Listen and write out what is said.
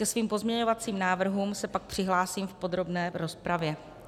Ke svým pozměňovacím návrhům se pak přihlásím v podrobné rozpravě.